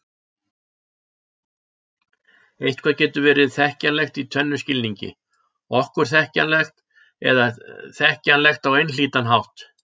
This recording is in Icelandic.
Eitthvað getur verið þekkjanlegt í tvennum skilningi: okkur þekkjanlegt eða þekkjanlegt á einhlítan hátt.